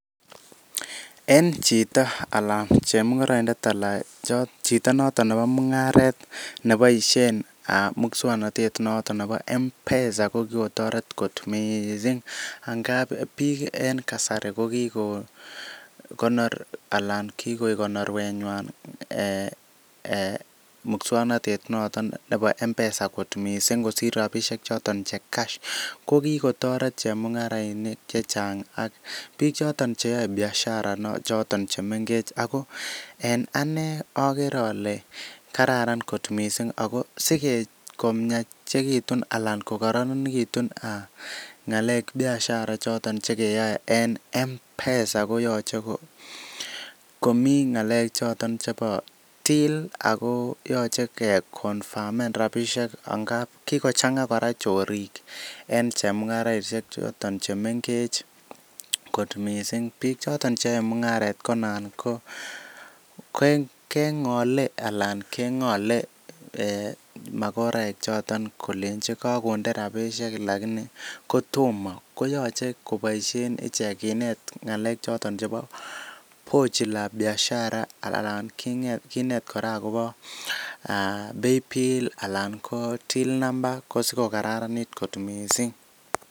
En chito alan chemung'oroindet ala cho chito noton nebo mung'aret neboisien muswoknotet noton nebo Mpesa kokotoret kot missing' angap biik en kasari kokiko konor alan kikoik konorwenywan um um muswoknotetab nebo Mpesa missing' kosir rabisiek choton che cash. Kokikotoret chemung'arainik chechang' ak biik choton cheyoe biashara chemengech ago en ane okere ole kararan kot missing' ago sike komiachekitun alan kokororonitu ng'alek biashara chekeyoe en Mpesa koyoche komi ng'alechoton chebo till ako yoche keconfamen rabisiek angap kikochang'a chorik en chemung'araisiek choton chemengech kot missing'. Bichoton yoe mung'aret ko anan ko keng'ole ala keng'ole magoraek kolenji kokonde rabisiek lakini kotomo koyoche koboisie ichek kinet ng'alek choton chebo pochi la biashara alan king'et kinet kora agobo paybill anan ko till number sikokararanit kot missing'.